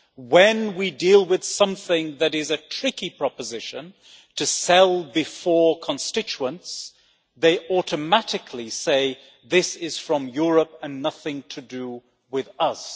When we deal with something that is a tricky proposition to sell before constituents, they automatically say this is from Europe and nothing to do with us'.